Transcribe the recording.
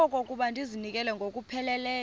okokuba ndizinikele ngokupheleleyo